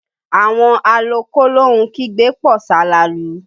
Àwọn alọ kólóhun kígbe pọ̀ salalu